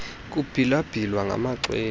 kubhila bhilwa ngamaxhwele